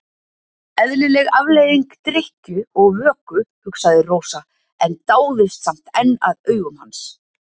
Eðlileg afleiðing drykkju og vöku, hugsaði Rósa en dáðist samt enn að augum hans.